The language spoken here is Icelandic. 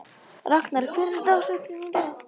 Ragnar, hver er dagsetningin í dag?